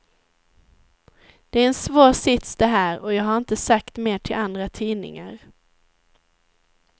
Det är en svår sits det här och jag har inte sagt mer till andra tidningar.